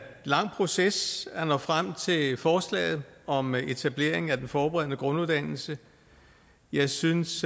lang proces at nå frem til forslaget om etablering af den forberedende grunduddannelse jeg synes